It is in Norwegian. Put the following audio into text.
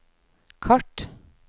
kart